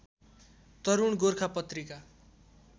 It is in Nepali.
तरूण गोर्खा पत्रिका